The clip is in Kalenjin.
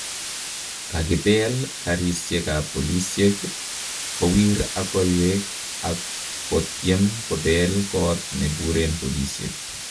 Kakibeel kariisyeekab polisyeek , kowiir ak koiweek ak kotyeem kobeel koot nebureen polisyeek